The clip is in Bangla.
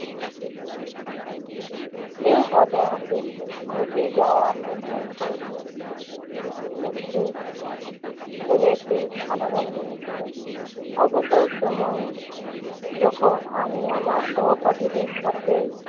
এই ঘটনাটি ঘটে যাওয়া পর্যন্ত একটি~ স্কুলে একটি সাধারণ দিন ছিল। অবসর সময়ে আমি যখন সহপাঠীদের সাথে